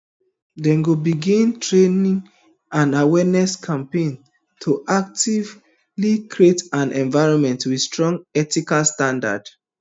dem go begin training and awareness campaigns to actively create an environment wit strong ethical standards